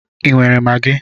Ị nwere Magi?